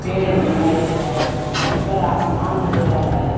पेड़ है दिखाई दे रहा है ऊपर आसमान नज़र आ रहा है।